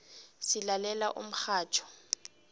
silalela umxhatjho